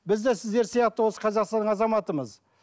біз де сіздер сияқты осы қазақстанның азаматымыз